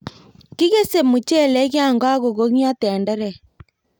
Kikese mochelek yon kong'yo tenderek.